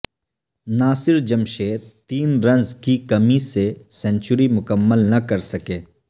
ناصر جمشید تین رنز کی کمی سے سنچری مکمل نہ کر سکے